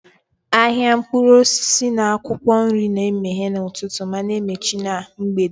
Ahịa mkpụrụ osisi na akwụkwọ nri na-emeghe n'ụtụtụ ma na-emechi na mgbede.